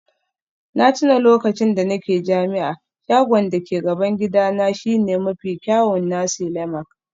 Na tuna lokacin da nake jami'a, shagon da ke gaban gidana shine mafi kyawun nasi lemak